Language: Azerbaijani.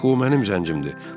Axı o mənim zəncimdir.